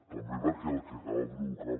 també perquè el que acaba provocant